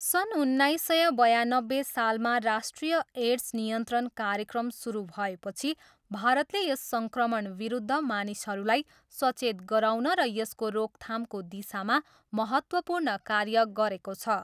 सन् उन्नाइस सय बयानब्बे सालमा राष्ट्रिय एड्स नियन्त्रण कार्यक्रम सुरु भएपछि भारतले यस सङ्क्रमणविरुद्ध मानिसहरूलाई सचेत गराउन र यसको रोकथामको दिशामा महत्त्वपूर्ण कार्य गरेको छ।